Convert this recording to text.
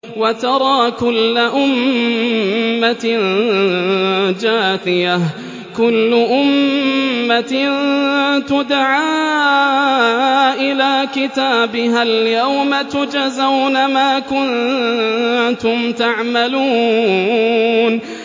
وَتَرَىٰ كُلَّ أُمَّةٍ جَاثِيَةً ۚ كُلُّ أُمَّةٍ تُدْعَىٰ إِلَىٰ كِتَابِهَا الْيَوْمَ تُجْزَوْنَ مَا كُنتُمْ تَعْمَلُونَ